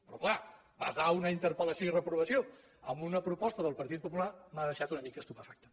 però clar basar una interpellació i reprovació en una proposta del partit popular m’ha deixat una mica estupefacte